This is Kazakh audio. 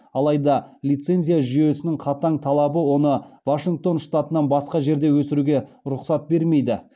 алайда лицензия жүйесінің қатаң талабы оны вашингтон штатынан басқа жерде өсіруге рұқсат бермейді